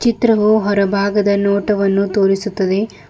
ಚಿತ್ರವು ಹೊರ ಭಾಗದ ನೋಟವನ್ನು ತೋರಿಸುತ್ತದೆ.